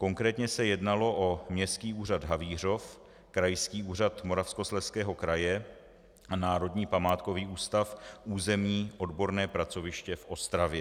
Konkrétně se jednalo o Městský úřad Havířov, Krajský úřad Moravskoslezského kraje a Národní památkový ústav, územní odborné pracoviště v Ostravě.